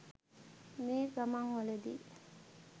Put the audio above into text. මේ ගමන්වලදී